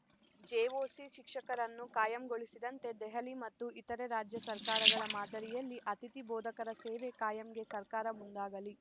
JOC ಶಿಕ್ಷಕರನ್ನು ಕಾಯಂಗೊಳಿಸಿದಂತೆ ದೆಹಲಿ ಮತ್ತು ಇತರೆ ರಾಜ್ಯ ಸರ್ಕಾರಗಳ ಮಾದರಿಯಲ್ಲಿ ಅತಿಥಿ ಬೋಧಕರ ಸೇವೆ ಕಾಯಂಗೆ ಸರ್ಕಾರ ಮುಂದಾಗಲಿ